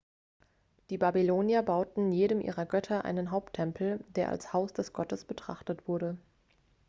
die babylonier bauten jedem ihrer götter einen haupttempel der als haus des gottes betrachtet wurde